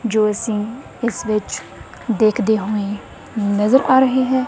ਜੋ ਅਸੀਂ ਇਸ ਵਿੱਚ ਦੇਖਦੇ ਹੋਏਂ ਨਜਰ ਆ ਰਹੇ ਹੈਂ।